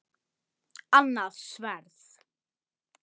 Annað sverð.